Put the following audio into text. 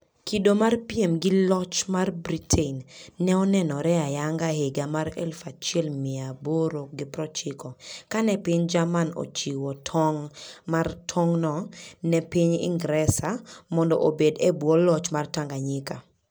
Kido mar piem gi loch mar Britain ne onenore ayanga e higa 1890, kane piny Jerman ochiwo tong' mar tong'no ne piny Ingresa mondo obed e bwo loch mar Tanganyika.